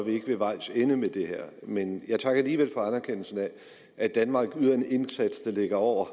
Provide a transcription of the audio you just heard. er ved vejs ende med det her men jeg takker alligevel for anerkendelsen af at danmark yder en indsats der ligger over